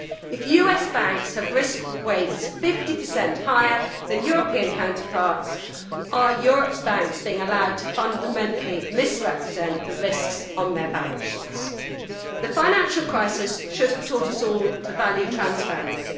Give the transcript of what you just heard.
If US banks have risk weights 50 higher than European counterparts, are Europe's banks being allowed to fundamentally misrepresent the risks on their balance sheets? The financial crisis should have taught us all to value transparency.